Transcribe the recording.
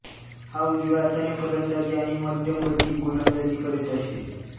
हा उजव्या हाताने फलंदाजी आणि मध्यमगती गोलंदाजी करीत असे